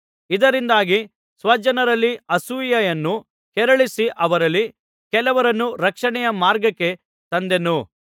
ಇದರಿಂದಾಗಿ ಸ್ವಜನರಲ್ಲಿ ಅಸೂಯೆಯನ್ನು ಕೆರಳಿಸಿ ಅವರಲ್ಲಿ ಕೆಲವರನ್ನು ರಕ್ಷಣೆಯ ಮಾರ್ಗಕ್ಕೆ ತಂದೇನು